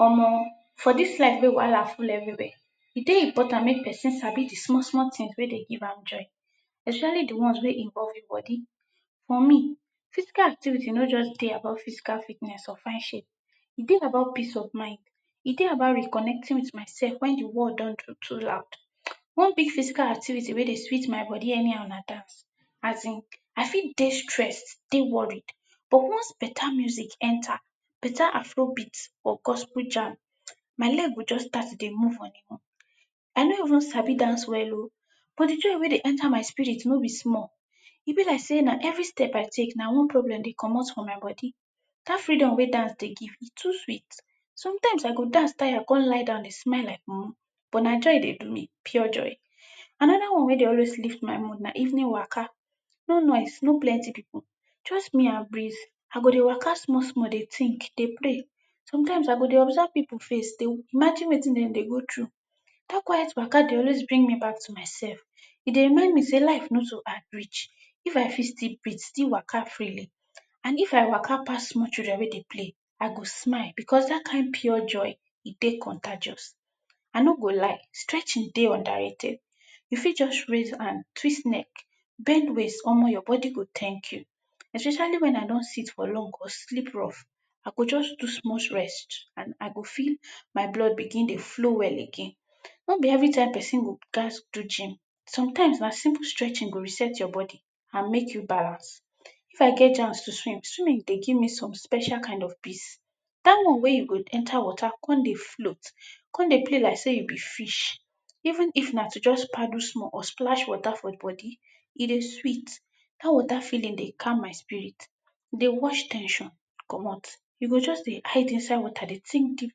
Omo! For dis life wey wahala full everywhere, e dey important mek person sabi di small small tins wey dey give am joy especially di ones wey involve e body. For me, physical activity no just dey about physical fitness or fine shape. E dey about peace of mind, e dey about reconnecting wit myself when di world don do too loud. One big physical activity wey sweet my body anyhow na dance. Asin, I fit dey stressed, dey worried but once beta music enter, beta afrobeat or gospel jam, my leg go just start to dey move on e own. I no even sabi dance well o but di joy wey dey enter my spirit no be small, e be like sey na every step I take na one problem dey comot from my body. Dat freedom wey dance dey give e too sweet. Sometimes I go dance tire kon lie down dey smile like mumu but na joy e dey do me, pure joy. Anoda one wey dey always lift my mood na evening waka, no noise, no plenty pipu, just me and breeze. I go dey waka small small, dey tink, dey play. Sometimes I go dey observe pipu face, dey imagine wetin dem dey go through. Data quiet waka dey always bring me back to myself, e dey remind me sey life no too hard reach, if I fit still breat, still waka freely, and if I waka pass small children wey dey play I go smile because dat kind pure joy e dey contagious. I no go lie, stretching dey underrated. You fit just raise hand, twist neck, bend waist or leg, your body go tank you, especially wen I don seat for long or sleep rough, I go just do small stretch, and I go feel my blood dey flow well again. No be every time person go gats do gym, sometimes na simple stretching go reset your body and mek you balance. If I get chance to swim, swimming dey give me some special kind of peace. Dat one wey you go enter water kon dey float, kon dey play like sey you be fish. Even if na to just paddle small or flash water for body, e dey sweet. Dat water feeling dey calm my spiri, dey wash ten sion comot, you go just dey hide inside water, dey tink deep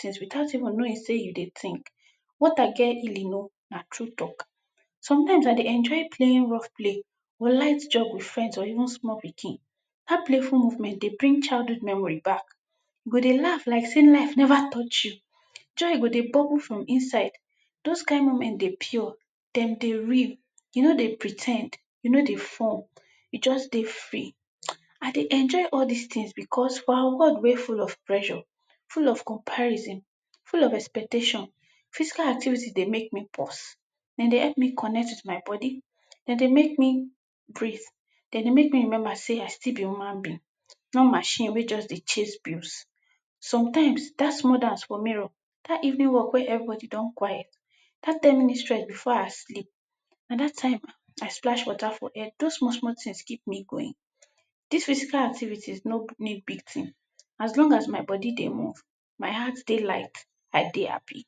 tins witout even knowing sey you dey tink. Water get healing o, na true talk. Sometimes I dey enjoy playing rough play or light jog wit friends or even small pikin. Dat playful moment dey bring childhood memory back, you go dey laugh like sey life neva touch you, joy go dey bubble for inside, dose kind moment dey pure, dey real, you no dey pre ten d, you no dey form, you just dey free. I dey enjoy all dis tins because our world wey full of pressure, full of comparison, full of expectation. Physical activity dey mek me pause, den dey help me connect wit my body, dey mek me breat, den dey mek me remember sey I still be human being not machine wey just dey chase blues. Sometimes, dat small dance for mirror, dat evening walk wey everybody don quiet, dat ten minutes stretch before I sleep, and dat time I splash water for head, dose small small tins keep me going. Dis physical activities no need big tin as long as my body dey move, my heart dey like I dey happy.